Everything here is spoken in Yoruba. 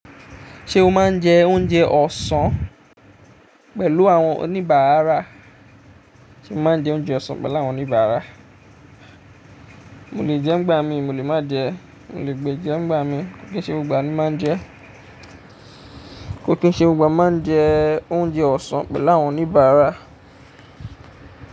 Ṣé o máa ń jẹ oúnjẹ ọ̀sán pẹ̀lú àwọn oníbàárà? Sé o máa ń jẹ oúnjẹ ọ̀sán pẹ̀lú àwọn oníbàárà? Mo lè jẹ́ ń gbà mí, mo lè má jẹ. Mo lè gbẹja ń gbà mi kò kí ń ṣe gbogb gbà mí máa jẹ. Kò kín ṣe ó gbà máa ń jẹ oúnjẹ ọ̀sán pẹ̀lú àwọn oníbàárà.